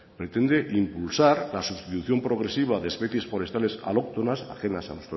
pretende impulsar la sustitución progresiva de especies forestales alóctonas ajenas a